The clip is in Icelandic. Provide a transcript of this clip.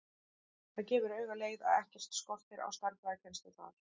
Það gefur auga leið að ekkert skortir á stærðfræðikennslu þar.